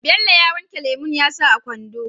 Bello ya wanke lemon yasa a kwando